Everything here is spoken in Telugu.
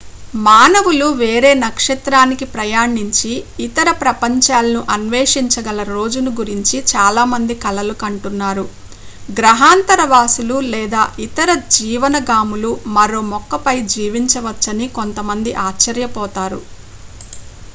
మానవులు వేరే నక్షత్రానికి ప్రయాణించి ఇతర ప్రపంచాలను అన్వేషించగల రోజును గురించి చాలామంది కలలు కంటున్నారు గ్రహాంతర వాసులు లేదా ఇతర జీవనాగాములు మరో మొక్కపై జీవించవచ్చని కొంతమంది ఆశ్చర్యపోతారు